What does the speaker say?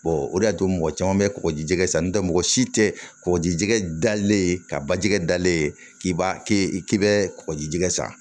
o de y'a to mɔgɔ caman bɛ kɔkɔjijɛgɛ san n'o tɛ mɔgɔ si tɛ kɔgɔjijɛgɛ dalen ka bajɛgɛ dalen k'i b'a kɛ i k'i bɛ kɔgɔjijɛgɛ sa